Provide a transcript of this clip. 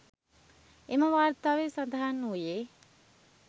එම වාර්තාවේ සඳහන් වූයේ